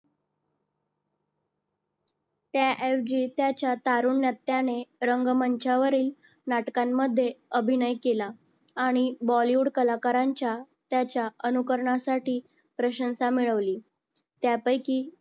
त्या अवघियाच्या तारुण्यात त्याने रंगमंचावरील नाटकांमध्ये अभिनय केला आणि Bollywood कलाकारांच्या त्याच्या अनुकरणासाठी प्रशंसा मिळवली. त्यापैकी